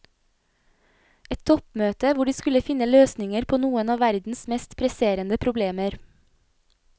Et toppmøte hvor de skulle finne løsninger på noen av verdens mest presserende problemer.